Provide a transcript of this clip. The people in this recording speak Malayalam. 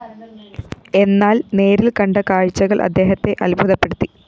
എന്നാല്‍ നേരില്‍ കണ്ട കാഴ്ചകള്‍ അദ്ദേഹത്തെ അത്ഭുതപ്പെടുത്തി